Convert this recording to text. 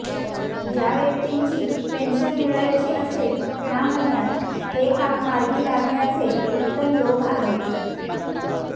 ज्या व्यक्तींची पेन्शन मिळायची असेल ह्या महिन्यात हे काम मार्गी लागण्याचे उत्तम योग आहेत